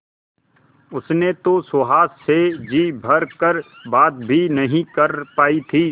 उसने तो सुहास से जी भर कर बात भी नहीं कर पाई थी